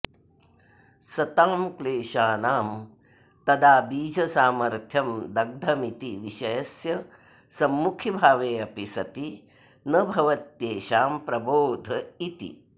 सतां क्लेशानां तदा बीजसामर्थ्यं दग्धमिति विषयस्य सम्मुखीभावेऽपि सति न भवत्येषां प्रबोध इति